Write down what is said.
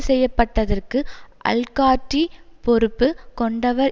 செய்ய பட்டதற்கு அல்காட்டிரி பொறுப்பு கொண்டவர்